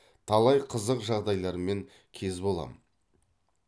талай қызық жағдайлармен кез боламын